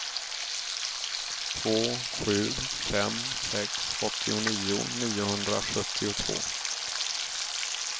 två sju fem sex åttionio niohundrasjuttiotvå